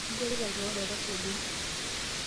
Inchorita kewon olkasi ogol.